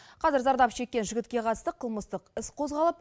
қазір зардап шеккен жігітке қатысты қылмыстық іс қозғалып